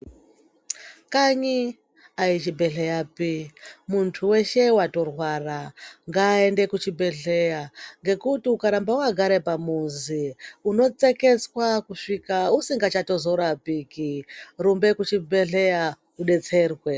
Kanyi aisi zvibhedhlera zvo muntu weshe watorwara ngaende kuchibhedhlera nekuti ukaramba wakagara pamuzi unotsekwtswa kusvika usingazoraoiki rumba kuchibhedhlera udetserwe.